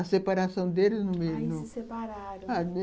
A separação deles... Aí se separaram.